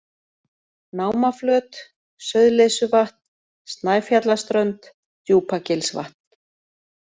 Námaflöt, Sauðleysuvatn, Snæfjallaströnd, Djúpagilsvatn